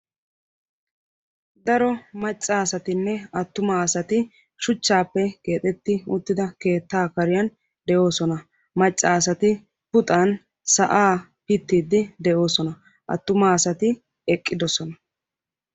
Daro macca asatinne atuuma asati shuchchaappe keexetti uttida keettaa kariyan de'oosona. Macca asati puxan sa'aa pittiiddi de'oosona. Attuma asati eqqidosona.